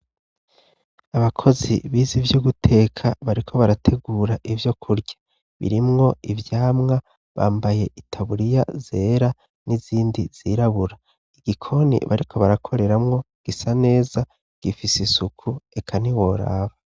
Abakozi bize ivyo guteka bariko barategura ivyo kurya. Birimwo ivyamwa bambaye itaburiya zera n'izindi zirabura. igikoni bariko barakoreramwo gisa neza, gifise isuku eka ntiworaba.